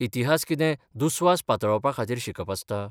इतिहास कितें दुस्वास पातळावपाखातीर शिकप आसता?